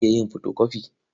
Zan iya yin fotokofi.